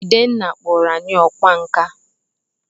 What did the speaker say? Jidenna kpọrọ anyi ọkwá nkà